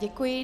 Děkuji.